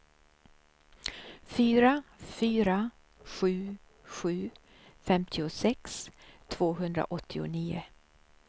fyra fyra sju sju femtiosex tvåhundraåttionio